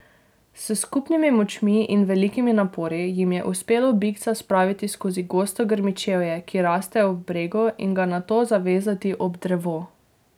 S skupnimi močmi in velikimi napori jim je uspelo bikca spraviti skozi gosto grmičevje, ki raste ob bregu, in ga nato zavezati ob drevo.